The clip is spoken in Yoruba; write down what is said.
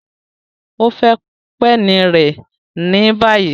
O fẹ peni rẹ ni bayi!